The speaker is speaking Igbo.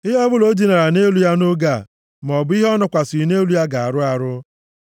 “ ‘Ihe ọbụla o dinara nʼelu ya nʼoge a, maọbụ ihe ọ nọkwasịrị nʼelu ya ga-arụ arụ.